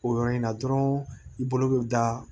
O yɔrɔ in na dɔrɔn i bolo bɛ da